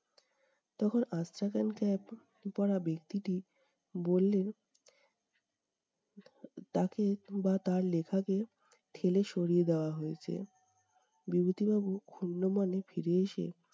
তখন আচ্ছা cap পরা ব্যক্তিটি বললেন, তাকে বা তার লেখাকে ঠেলে সরিয়ে দেওয়া হয়েছে। বিভূতিবাবু ক্ষুন্ন মনে ফিরে এসে-